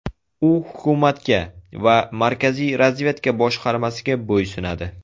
U hukumatga va Markaziy razvedka boshqarmasiga bo‘ysunadi.